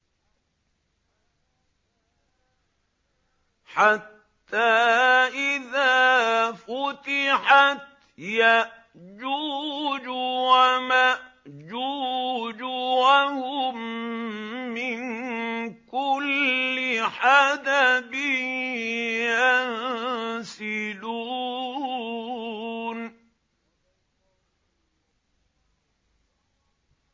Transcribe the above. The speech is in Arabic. حَتَّىٰ إِذَا فُتِحَتْ يَأْجُوجُ وَمَأْجُوجُ وَهُم مِّن كُلِّ حَدَبٍ يَنسِلُونَ